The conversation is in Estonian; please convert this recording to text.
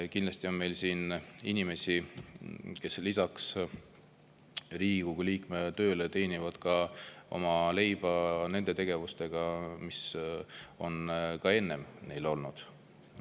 Kindlasti on meil siin inimesi, kes lisaks Riigikogu liikme tööle teenivad leiba nende tegevustega, mis neil ka enne olid.